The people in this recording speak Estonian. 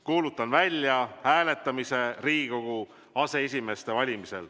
Kuulutan välja hääletamise Riigikogu aseesimeeste valimisel.